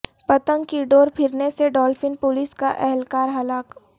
پتنگ کی ڈور پھرنے سے ڈولفن پولیس کا اہلکار ہلاک